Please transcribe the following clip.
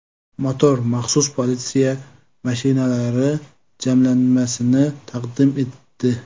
Motor maxsus politsiya mashinalari jamlanmasini taqdim etdi .